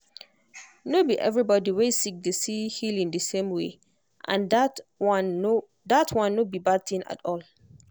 no be everybody wey sick dey see healing the same way and that one no that one no be bad thing at all.